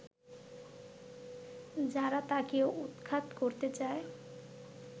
যারা তাকেও উৎখাত করতে চায়